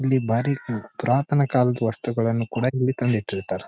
ಇಲ್ಲಿ ಬಾರಿ ಐತಿ ಪುರಾತನ ಕಾಲದ ವಸ್ತುಗಳನ್ನ ಕೂಡ ಇಲ್ಲಿ ತಂದಿಟ್ಟಿರ್ತ್ತಾರೆ.